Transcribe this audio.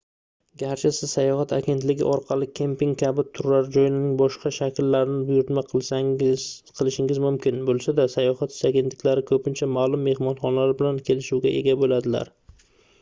garchi siz sayohat agentligi orqali kemping kabi turar-joyning boshqa shakllarini buyurtma qilishingiz mumkin boʻlsada sayohat agentliklari koʻpincha maʼlum mehmonxonalar bilan kelishuvga ega boʻladilar